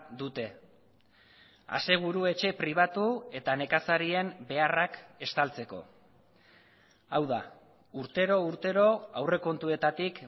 dute aseguru etxe pribatu eta nekazarien beharrak estaltzeko hau da urtero urtero aurrekontuetatik